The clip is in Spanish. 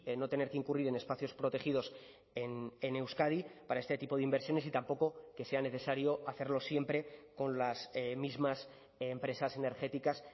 no tener que incurrir en espacios protegidos en euskadi para este tipo de inversiones y tampoco que sea necesario hacerlo siempre con las mismas empresas energéticas